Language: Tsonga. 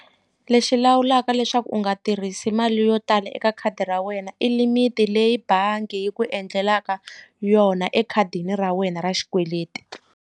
Lexi lawulaka leswaku u nga tirhisi mali yo tala eka khadi ra wena i limit leyi bangi yi ku endlelaka yona ekhadini ra wena ra xikweleti.